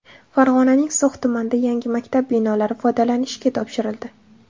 Farg‘onaning So‘x tumanida yangi maktab binolari foydalanishga topshirildi.